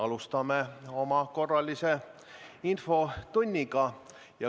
Alustame oma korralist infotundi.